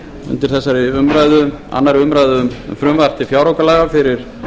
undir þessari umræðu annarrar umræðu um frumvarp til fjáraukalaga fyrir